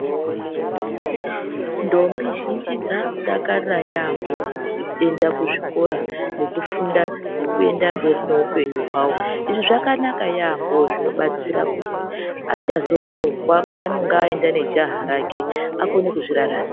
Ndombi zhinji dzaku dakarira yambo kuti dzoenda kuzvikora nekufunda nekuenda mberi nehupenyu hwavo izvi zvakanaka yambo zvobatsira kuti hacha zorohwa panenge aenda nejaha rake akone kuzvi raramira.